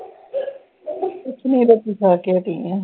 ਕੁਛ ਨਹੀਂ ਬਸ ਰੋਟੀ ਖਾ ਕੇ ਹਟੀ ਆ ।